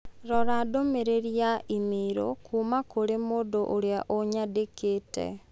Rora ndũmĩrĩri ya i-mīrū kuuma kũrĩ mũndũ ũria ũnyandĩkĩte.